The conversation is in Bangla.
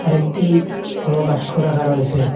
একটি বড় বাস্ক রাখা রয়েছে।